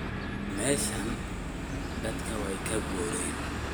Meshan dadka way kakuuren.